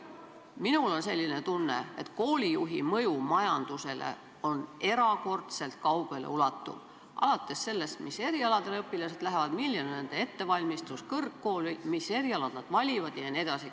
Minul on selline tunne, et koolijuhi mõju majandusele on erakordselt kaugele ulatuv, alates sellest, mis erialasid õpilased õppima lähevad, milline on nende ettevalmistus kõrgkooli minnes jne.